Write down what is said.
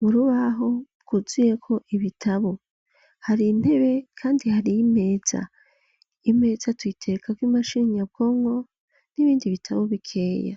Murubaho bwuzuyeko ibitabo hari intebe kandi hari imeza, Imeza tuyiterekako imashini nyabwonko n'ibindi bitabo bikeya.